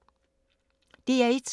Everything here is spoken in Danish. DR1